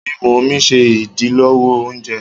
Mímú omí ṣe idilọwọ òùngbẹ.